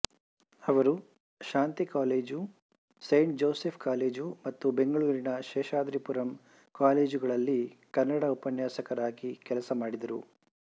ಅವರು Shanti college saint Joseph college ಮತ್ತು ಬೆಂಗಳೂರಿನ ಶೇಷಾದರಿಪುರಂ ಕಾಲೇಜುಗಳಲ್ಲಿ ಕನ್ನಡ ಉಪನ್ಯಾಸಕರಾಗಿ ಕೆಲಸ ಮಾಡಿದರು